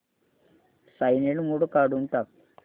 silent mode काढून टाक